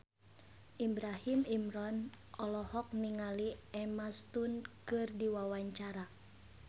Ibrahim Imran olohok ningali Emma Stone keur diwawancara